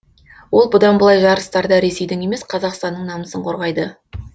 ол бұдан былай жарыстарда ресейдің емес қазақстанның намысын қорғайды